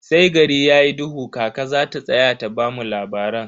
Sai gari yayi duhu kaka zata tsaya da bamu labaran.